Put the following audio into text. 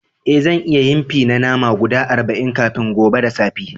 Eh, zan iya yin fi na nama guda arba'in kafin gobe da safe.